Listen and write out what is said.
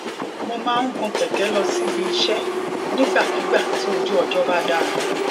mo máa ń gun kèké lọ síbi iṣé nígbàkigbà tí ojú ọjó bá dára